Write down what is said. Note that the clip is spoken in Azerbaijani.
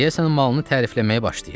Deyəsən malını tərifləməyə başlayır.